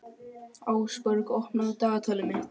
Ásborg, opnaðu dagatalið mitt.